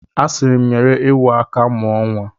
A siri m, nyere ewu aka mụọ nwa.